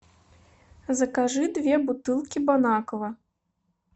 закажи две бутылки бон аква